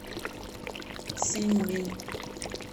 синьминь